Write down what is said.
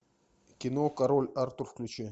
кино король артур включи